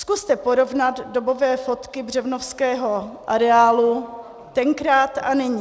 Zkuste porovnat dobové fotky Břevnovského areálu tenkrát a nyní.